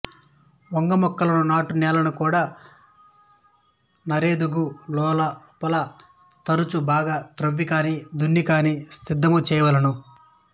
వంగ మొక్కలను నాటు నేలను కూడా నారెదుగు లోపల తరచు బాగుగ ద్రవ్విగానీ దున్నిగాని సిద్ధము చేయవలెను